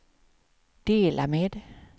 dela med